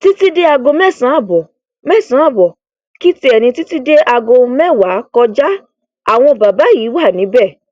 títí di aago mẹsàn án ààbọ mẹsàn án ààbọ kì tiẹ ní títí di aago mẹwàá kọjá àwọn bàbá yìí wà níbẹ